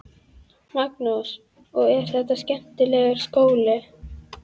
Magnús: Og er þetta skemmtilegur skóli?